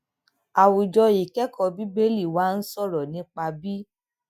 àwùjọ ìkékòó bíbélì wa ń sòrò nípa bí